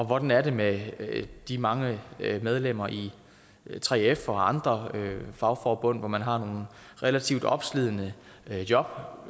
hvordan er det med de mange medlemmer i 3f og andre fagforbund hvor man har nogle relativt opslidende job